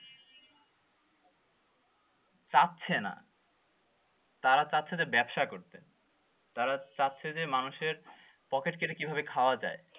তারা চাচ্ছে যে ব্যবসা করতে তারা চাচ্ছে যে মানুষের পকেট কেটে কিভাবে খাওয়া যায়